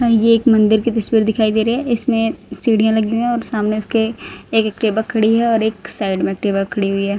ये एक मंदिर की तस्वीर दिखाई दे रही है इसमें सीढ़ियां लगी हुई है और सामने उसके एक टेबल खड़ी है और एक साइड में एक टेबल खड़ी हुई है।